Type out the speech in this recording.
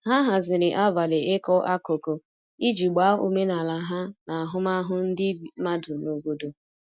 ha haziri abali iko akụkụ iji gbaa omenala ha na ahụmahụ ndi madụ n'obodo